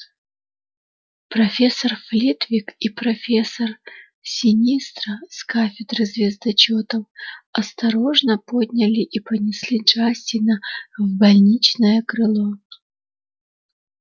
профессор флитвик и профессор синистра с кафедры звездочётов осторожно подняли и понесли джастина в больничное крыло